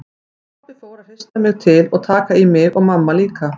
Pabbi fór að hrista mig til og taka í mig og mamma líka.